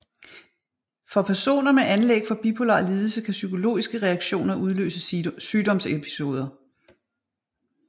For personer med anlæg for bipolar lidelse kan psykologiske reaktioner udløse sygdomsepisoder